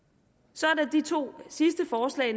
så er der de to sidste forslag